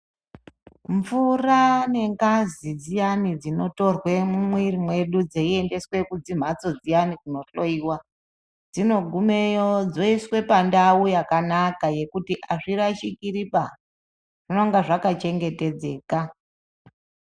Mvura nengazi dziyani dzinotorwe mumwiri mwedu dzeiendeswe kumhatso dziyani kunohloyiwa dzinogumeyo dzoiswa pandau yakanaka yekuti azvirashirikiba zvinenge zvakachengetedzeka.